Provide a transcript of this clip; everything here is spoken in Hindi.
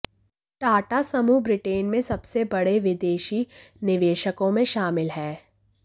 टाटा समूह ब्रिटेन में सबसे बड़े विदेशी निवेशकों में शामिल है